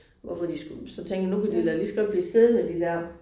Hvorfor de skulle så tænkte jeg nu kan de da lige så godt blive siddende de der